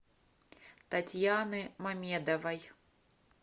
татьяны мамедовой